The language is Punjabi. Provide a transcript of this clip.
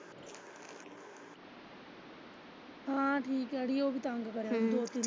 ਹਾਂ ਠੀਕ ਹੈ ਅੜੀ ਉਹ ਵੀ ਤੰਗ ਕਰਨ ਦੀ ਸੀ।